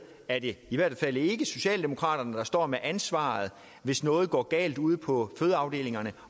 er det i hvert fald ikke socialdemokraterne der står med ansvaret hvis noget går galt ude på fødeafdelingerne